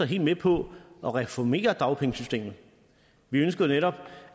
helt med på at reformere dagpengesystemet vi ønsker netop